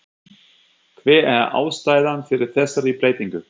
Hver er ástæðan fyrir þessari breytingu?